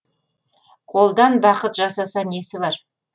қолдан бақыт жасаса несі бар